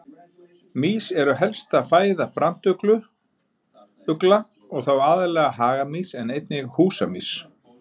Mýs eru helsta fæða brandugla og þá aðallega hagamýs en einnig húsamýs.